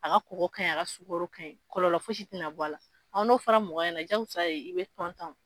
A ka kɔgɔ ka ɲi a ka sukaro ka ɲi, kɔlɔlɔ fosi tɛna bɔ a la an n'o fara mɔgɔ ɲɛnɛ jagosa sa ye i bɛ